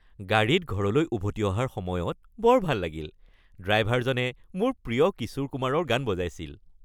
গাড়ীত ঘৰলৈ উভতি অহাৰ সময়ত বৰ ভাল লাগিল। ড্ৰাইভাৰজনে মোৰ প্ৰিয় কিশোৰ কুমাৰৰ গান বজাইছিল।